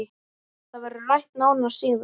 Það verður rætt nánar síðar